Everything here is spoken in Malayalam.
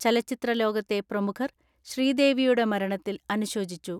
ചലച്ചിത്രലോകത്തെ പ്രമുഖർ ശ്രീദേവിയുടെ മരണത്തിൽ അനുശോചിച്ചു.